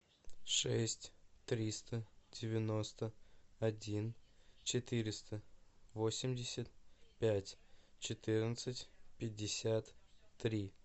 шесть триста девяносто один четыреста восемьдесят пять четырнадцать пятьдесят три